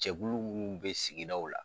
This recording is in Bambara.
Cɛkulu munnu bɛ sigidaw la